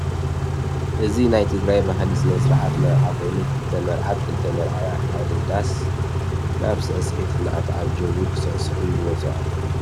እዚ ናይ ትግራይ ባህሊ ስነስርዓት መርዓ ኮይኑ ክልተ መርዓት ክልተ መርዓዊ ካብ ሓደ ዳስ ናብ ስዕሲዒት እንዳተዓጀቡ ክስዕስዑ ይወፁ ኣለዉ።